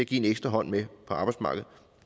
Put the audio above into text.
give en ekstra hånd med på arbejdsmarkedet